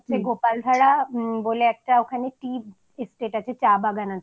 এ আমরা দুটো জায়গায় ছিলাম একটা হচ্ছে গোপালধারা